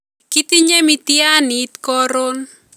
Kitinye miitiyaaniit koron